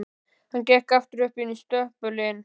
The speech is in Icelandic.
Hann gekk aftur inn í stöpulinn.